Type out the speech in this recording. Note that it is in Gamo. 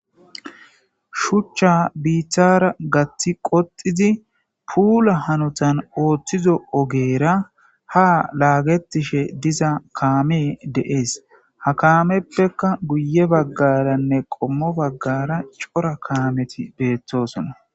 Shuchcha biithara gaththi qoxizi puula hanotan ooththizo ogeera ha laagetishe diza kaame de7ees ha kaameppekka guye baggaranne qommo baggara cora kaameti beettosona.